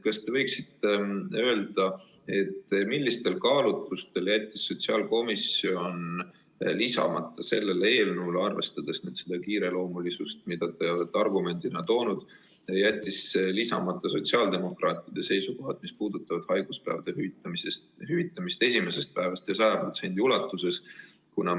Kas te võiksite öelda, millistel kaalutlustel jättis sotsiaalkomisjon lisamata sellele eelnõule, arvestades seda kiireloomulisust, mida te olete argumendina välja toonud, sotsiaaldemokraatide seisukohad, mis puudutavad haiguspäevade hüvitamist esimesest päevast alates ja 100% ulatuses?